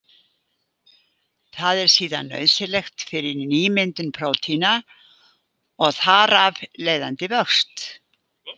Það er síðan nauðsynlegt fyrir nýmyndun prótína og þar af leiðandi vöxt.